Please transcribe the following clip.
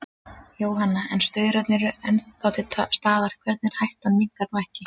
Jóhanna: En staurarnir eru nú ennþá til staðar, þannig að hættan minnkar nú ekki?